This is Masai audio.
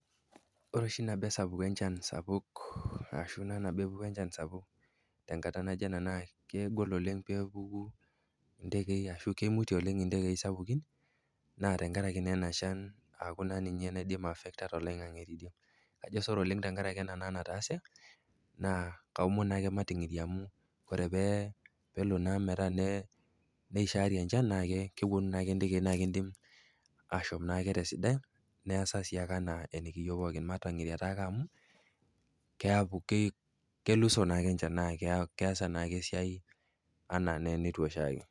Ore oshi nabo esapuk enchan sapuk ashu naa tenepuku enchan sapuk tenkata najo ena kegol oleng peepuku indekei ashu keimutie oleng indekei sapuku aaku naa ninye naidim aaffecta toloing'ang'e teidie. Ajo sore oleng tenkarake ena nataase, ore pee, nelo naa metaa neishari enchan naake kewuonu naake ndekei naa keidim ashom naake te sidai neasa naake anaa enekiieu pooki, mating'iria taake amu keaku, kelusoo naake enchan naa keasa naake esiai anaa enetiu oshi ake.